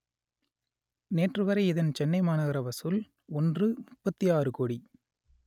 நேற்றுவரை இதன் சென்னை மாநகர வசூல் ஒன்றுமுப்பத்தி ஆறு கோடி